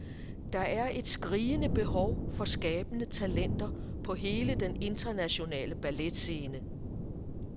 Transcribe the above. Der er et skrigende behov for skabende talenter på hele den internationale balletscene.